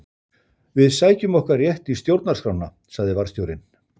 Við sækjum okkar rétt í stjórnarskrána sagði varðstjórinn.